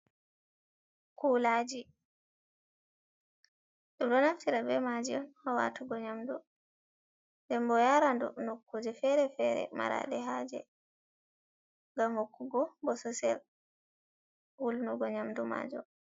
Kulaji dum do naftira be maji on ha watugo nyamdu. Ɗen bo yaradu nokkuje fere-fere marade haje. Gam hokkugo bososel wulnugo nyamdu majum.